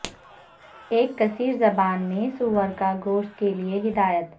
ایک کثیر زبان میں سور کا گوشت کے لئے ہدایت